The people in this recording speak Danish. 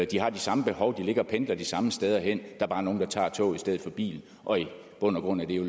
de har de samme behov de pendler pendler de samme steder hen er bare nogle der tager toget i stedet for bilen og i bund og grund er det jo